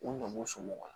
U ɲin somɔgɔ